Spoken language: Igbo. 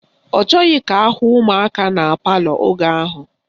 Ọ chọghị ka ahụ ụmụaka na palọ oge ahụ.